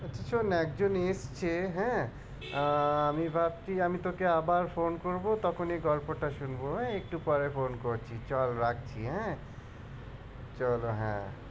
শোন একজন এসেছে হ্যাঁ আহ আমি ভাবছি আমি তোকে আবার phone করবো তখন এই গল্পটা শুনবো হ্যাঁ একটু পরে phone করছি চল রাখি হ্যাঁ।